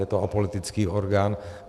Je to apolitický orgán.